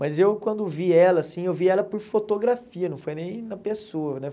Mas eu, quando vi ela, assim, eu vi ela por fotografia, não foi nem na pessoa, né?